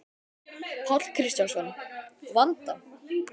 Páll Kristjánsson: Vanda?